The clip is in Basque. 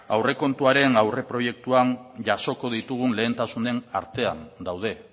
aurrekontuaren aurreproiektuan jasoko ditugun lehentasunen artean daude